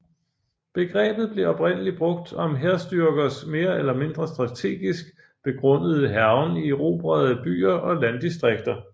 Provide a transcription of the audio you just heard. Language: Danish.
Begrebet blev oprindelig brugt om hærstyrkers mere eller mindre strategisk begrundede hærgen i erobrede byer og landdistrikter